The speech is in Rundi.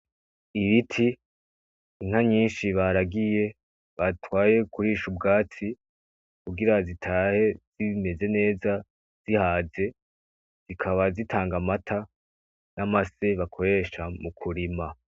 Ibiti, inka nyinshi baragiye, batwaye kurisha ubwatsi kugira zitahe zibimeze neza zihaze, zikaba zitanga amata n'amase bakoresha mukurima.